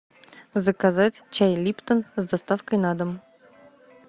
заказать чай липтон с доставкой на дом